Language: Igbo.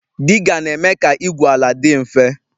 Diga na-eme ka igwu ala dị mfe